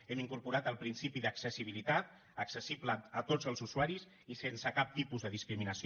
hem incorporat el principi d’accessibilitat accessible a tots els usuaris i sense cap tipus de discriminació